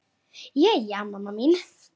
Jæja, mamma mín.